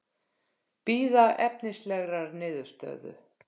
Bíða efnislegrar niðurstöðu